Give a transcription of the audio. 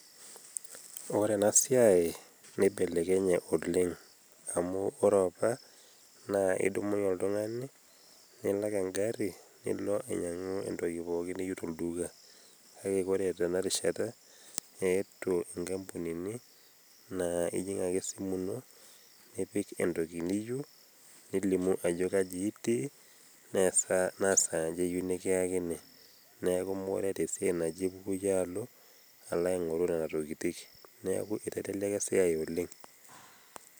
Ore ena siaai neibelekenye oleng, amuu kore apa naa idumunye oltungani nilak egarri nilo ainyang'u entoki pooki niyieu tolduka, kake kore tena rishata eetuo inkampunini naa ijing ake esimu ino nipik entoki niyieu, nilimu ajo kaji itii, naa saa aja iyieu nikiyakini neeku mekure etaa esiai nipuku yie alo, alo aigorr nena tokitin, neeku iteleleka esiai oleng.